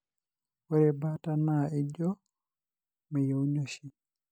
ore baata na ijio meyieuni oshi.